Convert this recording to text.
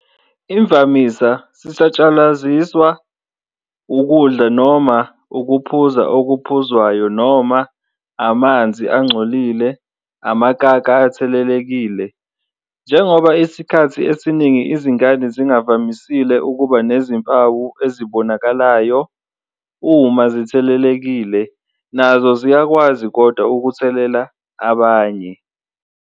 Imvamisa sisatshalaliswa ukudla noma ukuphuza okuphuzwayo noma amanzi angcolile anamakaka athelelekile. Njengoba isikhathi esiningi izingane zingavamisile ukuba nezimpawu ezibonakalayo uma zithelelekile nazo ziyakwazi kodwa ukuthelela abanaye.